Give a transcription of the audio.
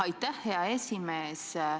Aitäh, hea esimees!